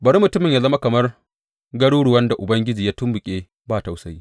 Bari mutumin ya zama kamar garuruwan da Ubangiji ya tumɓuke ba tausayi.